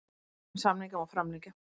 En samninga má framlengja.